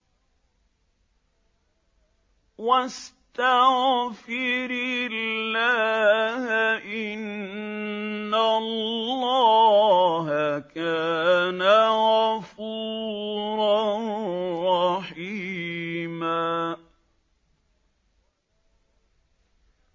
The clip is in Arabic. وَاسْتَغْفِرِ اللَّهَ ۖ إِنَّ اللَّهَ كَانَ غَفُورًا رَّحِيمًا